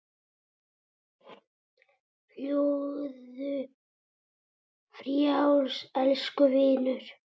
Fljúgðu frjáls, elsku vinur.